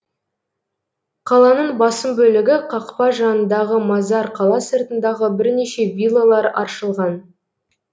қаланың басым бөлігі қақпа жанындағы мазар қала сыртындағы бірнеше виллалар аршылған